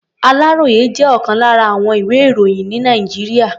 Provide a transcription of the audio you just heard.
Àláròyé jẹ́ ọ̀kan lára àwọn ìwé-ìròyìn ní Nàìjíríà.